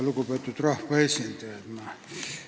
Lugupeetud rahvaesindajad!